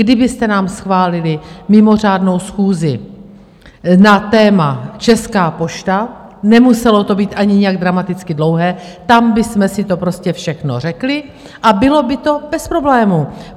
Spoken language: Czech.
Kdybyste nám schválili mimořádnou schůzi na téma Česká pošta, nemuselo to být ani nějak dramaticky dlouhé, tam bychom si to prostě všechno řekli a bylo by to bez problémů.